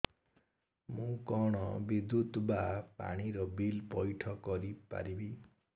ମୁ କଣ ବିଦ୍ୟୁତ ବା ପାଣି ର ବିଲ ପଇଠ କରି ପାରିବି